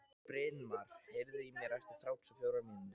Brynmar, heyrðu í mér eftir þrjátíu og fjórar mínútur.